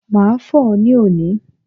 Màá fò ó ní òní